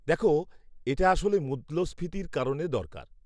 দেখো, এটা আসলে মূল্যস্ফীতির কারণে দরকার।